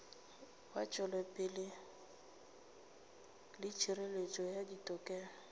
wetšopele le hireletšo ya ditokelo